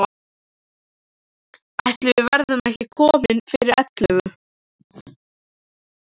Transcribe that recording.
Ætli við verðum ekki komin fyrir ellefu.